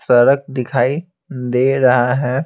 सड़क दिखाई दे रहा है।